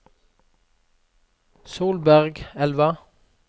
Solbergelva